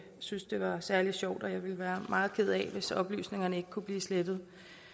synes det var særlig sjovt og at jeg ville være meget ked af det hvis oplysningerne ikke kunne blive slettet